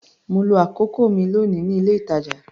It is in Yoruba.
Mo lo àkókò mi lónìí ní ilé-ìtàjà.